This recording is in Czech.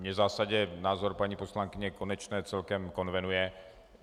Mně v zásadě názor paní poslankyně Konečné celkem konvenuje.